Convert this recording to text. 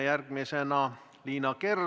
Järgmisena Liina Kersna.